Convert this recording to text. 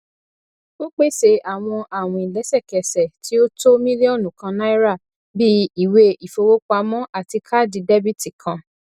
ó pèsè àwọn àwìn lẹsẹkẹsẹ tí ó tó mílíònù kàn náírà bíi ìwé ìfowópamọ àti káàdì dẹbìtì kan